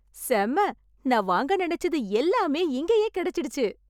செம்ம! நா வாங்க நெனச்சது எல்லாமே இங்கேயே கிடைச்சிடுச்சு.